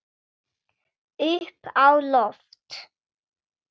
Upp á loft.